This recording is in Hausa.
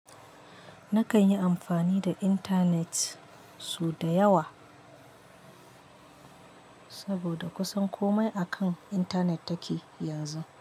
Nakan yi amfani da internet sau da yawa, saboda kusan komai akan internet take yanzu.